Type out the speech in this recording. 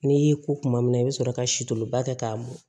N'i y'i ko kuma min na i bɛ sɔrɔ ka sito ba kɛ k'a mɔn